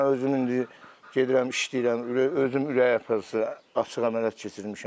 Mən özüm indi gedirəm işləyirəm, özüm ürək açıq əməliyyat keçirmişəm.